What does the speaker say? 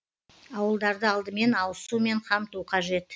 ауылдарды алдымен ауыз сумен қамту қажет